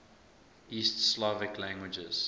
east slavic languages